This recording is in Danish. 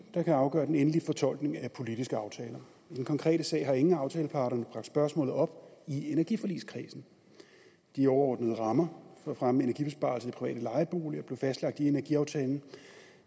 der kan afgøre den endelige fortolkning af politiske aftaler i den konkrete sag har ingen af aftaleparterne bragt spørgsmålet op i energiforligskredsen de overordnede rammer for at fremme energibesparelser i private lejeboliger blev fastlagt i energiaftalen